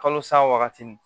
Kalo sawa wagati